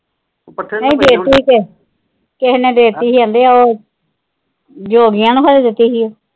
ਓ ਪੱਠੇ ਨਹੀਂ ਦੇ ਤੀ ਸੀ ਕਿਸੇ ਨੇ ਦੇਤੀ ਸੀ ਕਹਿੰਦੇ ਉਹ ਜੋਗੀਆਂ ਨੇ ਖੋਰੇ ਦਿੱਤੀ ਸੀ ਉਹ।